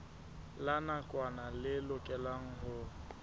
la nakwana le lokelwang ho